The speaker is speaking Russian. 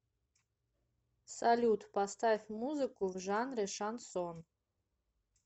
салют поставь музыку в жанре шансон